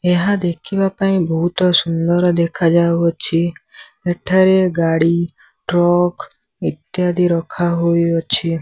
ଏହା ଦେଖିବାପାଇଁ ବହୁତ ସୁନ୍ଦର ଦେଖାଯାଉଅଛି। ଏଠାରେ ଗାଡ଼ି ଟ୍ରକ ଇତ୍ୟାଦି ରଖା ହୋଇଅଛି।